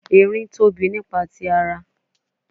Erin tobi nipa ti ara